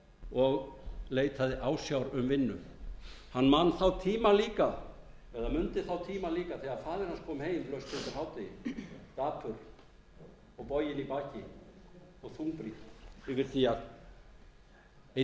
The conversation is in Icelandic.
og leitaði ásjár um vinnu hann mundi þá tíma líka þegar faðir hans kom heim laust undir hádegi dapur og boginn í baki og þungbrýnn yfir því að einn